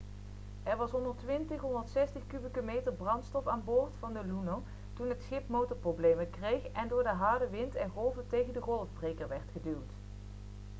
er was 120-160 kubieke meter brandstof aan boord van de luno toen het schip motorproblemen kreeg en door de harde wind en golven tegen de golfbreker werd geduwd